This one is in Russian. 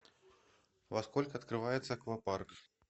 во сколько открывается аквапарк